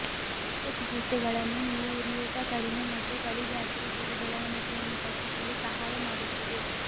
ನಿಯಮಿತ ಚಿಕಿತ್ಸೆಗಳನ್ನು ನೀವು ಉರಿಯೂತ ಕಡಿಮೆ ಮತ್ತು ತಳಿ ಬ್ಯಾಕ್ಟೀರಿಯಾದ ಬೆಳವಣಿಗೆಯನ್ನು ತಗ್ಗಿಸಲು ಸಹಾಯ ಮಾಡುತ್ತದೆ